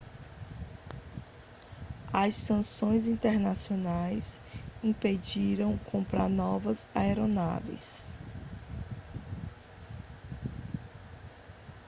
as sanções internacionais impediram comprar novas aeronaves